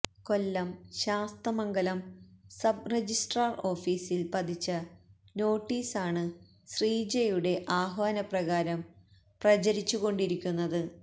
കൊല്ലം Sasthamangalam sub registrar ഓഫീസില് പതിച്ച നോട്ടീസാണ് ശ്രീജയുടെ ആഹ്വാനപ്രകാരം പ്രചരിച്ചുകൊണ്ടിരിക്കുന്നത്